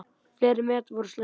Fleiri met voru slegin.